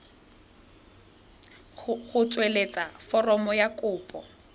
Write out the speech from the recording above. go tsweletsa foromo ya kopo